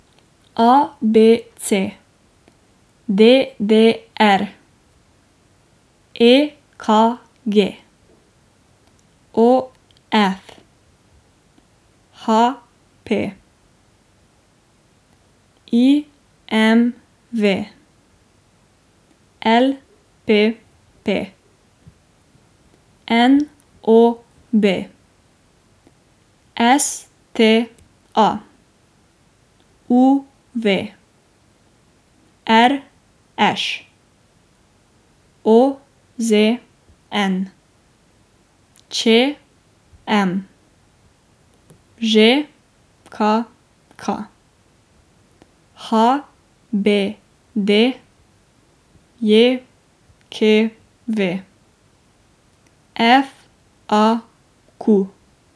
A B C; D D R; E K G; O F; H P; I M V; L P P; N O B; S T A; U V; R Š; O Z N; Č M; Ž K K; H B D J K V; F A Q.